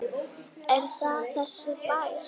Er það þessi bær?